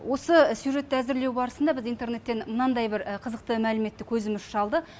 осы сюжетті әзірлеу барысында біз интернеттен мынандай бір қызықты мәліметті көзіміз шалды